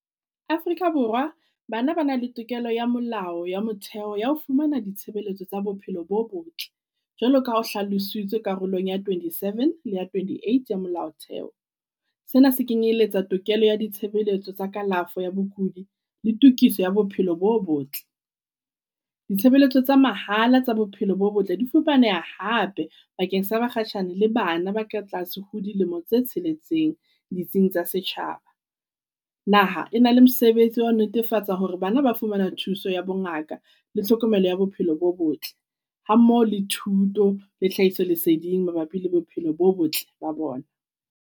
Afrika Borwa bana ba na le tokelo ya molao ya motheo ya ho fumana ditshebeletso tsa bophelo bo botle. Jwalo ka ha ho hlalositswe karolong ya twenty-seven le ya twenty-eight ya molao theho. Sena se kenyeletsa tokelo ya ditshebeletso tsa kalafo ya bokudi le tokiso ya bophelo bo botle. Ditshebeletso tsa mahala tsa bophelo bo botle di fumaneha hape bakeng sa bakgashane le bana ba ka tlase ho dilemo tse tsheletseng ditsing tsa setjhaba. Naha e na le mosebetsi wa ho netefatsa hore bana ba fumana thuso ya bo ngaka le tlhokomelo ya bophelo bo botle. Ha mmoho le thuto le tlhahiso leseding mabapi le bophelo bo botle ba bona.